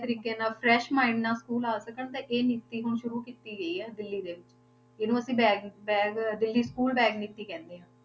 ਤਰੀਕੇ ਨਾਲ fresh mind ਨਾਲ school ਆ ਸਕਣ ਤੇ ਇਹ ਨੀਤੀ ਹੁਣ ਸ਼ੁਰੂ ਕੀਤੀ ਗਈ ਹੈ ਦਿੱਲੀ ਦੇ ਵਿੱਚ, ਇਹਨੂੰ bag bag Delhi school bag ਨੀਤੀ ਕਹਿੰਦੇ ਹਾਂ।